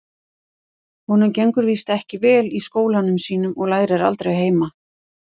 Honum gengur víst ekki vel í skólanum sínum og lærir aldrei heima.